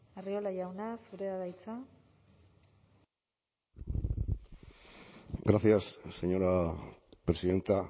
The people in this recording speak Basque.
arriola jauna zurea da hitza gracias señora presidenta